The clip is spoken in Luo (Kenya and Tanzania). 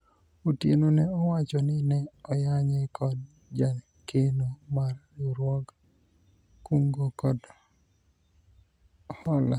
Otieno ne owacho ni ne oyanye kod jakeno mar riwruog kungo kod hola